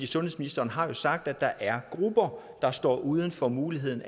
sundhedsministeren har jo sagt at der er grupper der står uden for muligheden